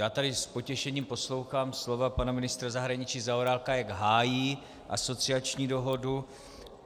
Já tady s potěšením poslouchám slova pana ministra zahraničí Zaorálka, jak hájí asociační dohodu.